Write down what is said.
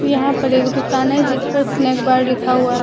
यहां पर एक दुकान है जिस पर स्नैक बार लिखा हुआ है।